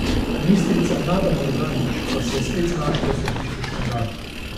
Ministrica Nada Murganić pa se je spet znašla v središču škandala.